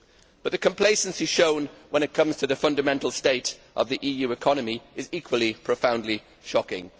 But the complacency shown when it comes to the fundamental state of the EU economy is equally profoundly shocking.